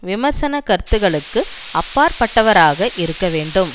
விமர்சன கருத்துக்களுக்கு அப்பாற்பட்டவராக இருக்க வேண்டும்